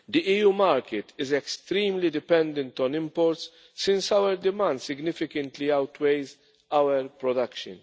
The EU market is extremely dependent on imports since our demand significantly outweighs our production.